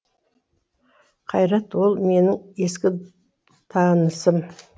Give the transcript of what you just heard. қайрат ол менің ескі танысым